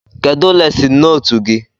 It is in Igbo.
Kedụ lesịn nootu gị?